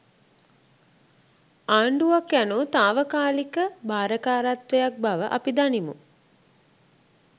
ආණ්ඩුවක් යනු තාවකාලික භාරකාරත්වයක් බව අපි දනිමු.